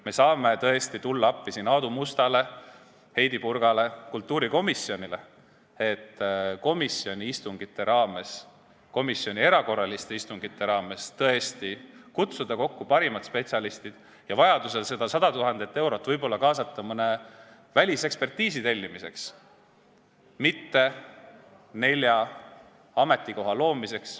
Me saame tõesti tulla appi siin Aadu Mustale, Heidy Purgale ja kultuurikomisjonile, et komisjoni korraliste ja erakorraliste istungite raames kutsuda kokku parimad spetsialistid ja vajaduse korral võib seda 100 000 eurot kaasata mõne välisekspertiisi tellimiseks, mitte aga nelja ametikoha loomiseks.